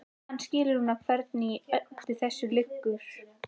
Hann skilur núna hvernig í öllu þessu liggur.